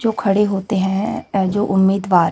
जो खड़े होते हैं जो उम्मीदवार--